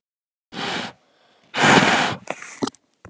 Jafnvel að fara gegn lögum eða hvað?